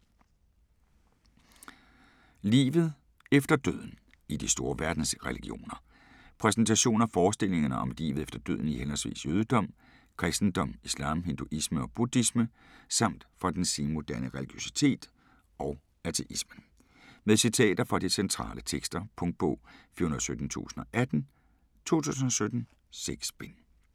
Livet efter døden - i de store verdensreligioner Præsentation af forestillingerne om livet efter døden i henholdsvis jødedom, kristendom, islam, hinduisme og buddhisme samt fra den senmoderne religiøsitet og ateismen. Med citater fra de centrale tekster. Punktbog 417018 2017. 6 bind.